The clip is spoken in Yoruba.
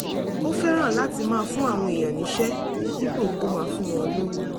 ó fẹ́ràn láti máa fún àwọn èèyàn níṣẹ́ dípò kó máa fún wọn lówó